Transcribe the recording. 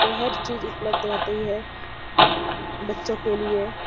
बोहोत चीज उपलब्ध रहती हैं बच्चो के लिए --